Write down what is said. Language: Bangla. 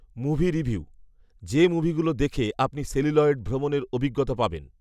মুভি রিভিউঃ যে মুভি গুলো দেখে আপনি সেলুলয়েড ভ্রমণের অভিজ্ঞতা পাবেন